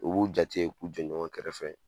O b'u jate k'u jɔ ɲɔgɔn kɛrɛfɛ